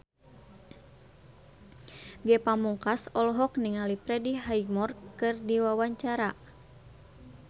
Ge Pamungkas olohok ningali Freddie Highmore keur diwawancara